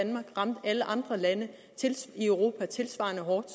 alle andre lande i europa tilsvarende hårdt